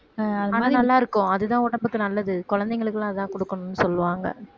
ஆஹ் ஆனா நல்லாருக்கும் அதுதான் உடம்புக்கு நல்லது குழந்தைங்களுக்கு எல்லாம் அதான் கொடுக்கணும்னு சொல்வாங்க